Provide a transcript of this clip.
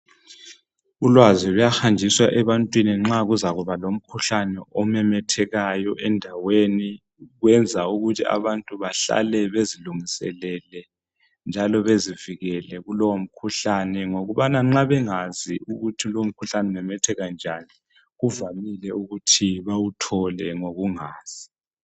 Ulwazi luyahanjiswa ebantwini nxa kuzakuba lomkhuhlane omemethekayo endaweni . Kwenza ukuthi abantu bahlale bezilungiselele njalo bezivikele kulowo mkhuhlane ngokubana nxa bengazi ukuthi lomkhuhlane umemetheka njani kuvamile ukuthi bawuthole ngokungazi